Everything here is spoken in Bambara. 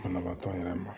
Banabaatɔ yɛrɛ ma